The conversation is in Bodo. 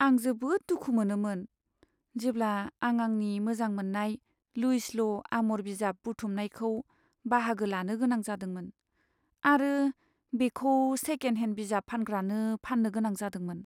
आं जोबोद दुखु मोनोमोन, जेब्ला आं आंनि मोजां मोननाय लुइस ल' आम'र बिजाब बुथुमनायखौ बाहागो लानो गोनां जादोंमोन आरो बेखौ सेकेन्ड हेन्ड बिजाब फानग्रानो फान्नो गोनां जादोंमोन।